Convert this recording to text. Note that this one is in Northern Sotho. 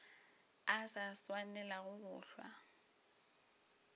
a sa swanelago go hlwa